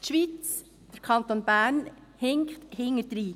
Die Schweiz und der Kanton Bern hinken hintendrein.